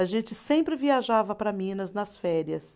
A gente sempre viajava para Minas nas férias.